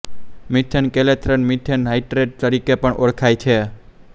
methane clathrate methane hydrate તરીકે પણ ઓળખાય છે